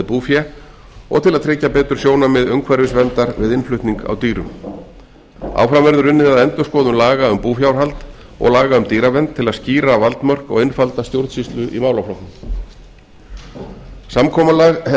búfé og til að tryggja betur sjónarmið umhverfisverndar við innflutning á dýrum áfram verður unnið að endurskoðun laga um búfjárhald og laga um dýravernd til að skýra valdmörk og einfalda stjórnsýslu í málaflokknum samkomulag er